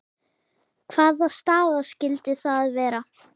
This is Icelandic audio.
Hvaða staða skyldi það vera?